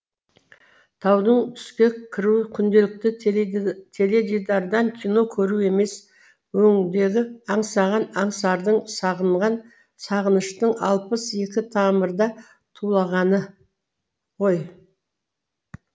таудың түске кіруі күнделікті теледидардан кино көру емес өңдегі аңсаған аңсардың сағынған сағыныштың алпыс екі тамырда тулағаны ғой